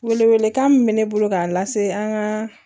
Wele welekan min bɛ ne bolo k'a lase an ka